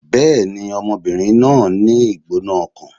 Bẹ́ẹ̀ni, ọmọbìnrin náà ń ní ìgbóná-ọkàn